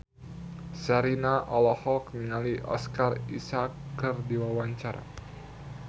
Sherina olohok ningali Oscar Isaac keur diwawancara